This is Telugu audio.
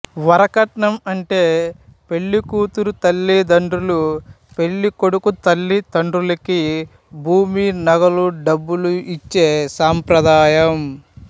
వరకట్నం అంటే పెళ్ళి కూతురు తల్లి తండ్రులు పెళ్ళి కొడుకు తల్లి తండ్రులకి భూమి నగలు డబ్బులు ఇచ్చే సంప్రదాయం